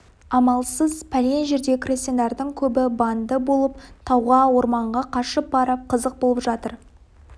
амалсыз пәлен жердегі крестьяндардың көбі банды болып тауға орманға қашып барып қызық болып жатыр